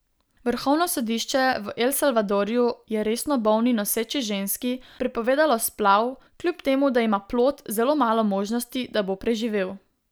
Vrhovno sodišče v El Salvadorju je resno bolni noseči ženski prepovedalo splav, kljub temu da ima plod zelo malo možnosti, da bo preživel.